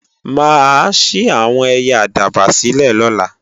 Mà á ṣí àwọn ẹyẹ àdàbà sílè lọ́la